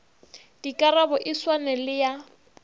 dikarabo e swane le ya